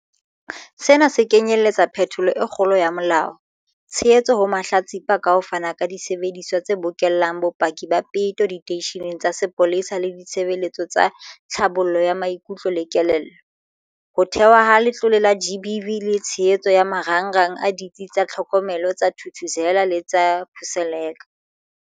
Sena se kenyeletsa phetholo e kgolo ya molao, tshehetso ho mahlatsipa ka ho fana ka disebediswa tse bokellang bopaki ba peto diteisheneng tsa sepolesa le ditshebeletso tsa tlhabollo ya maikutlo le kelello, ho thehwa ha Letlole la GBVF le tshehetso ya marangrang a Ditsi tsa Tlhokomelo tsa Thuthuzela le tsa Khuseleka.